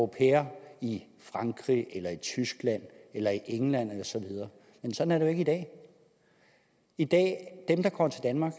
pair i frankrig eller i tyskland eller i england osv men sådan er ikke i dag i dag er dem der kommer til danmark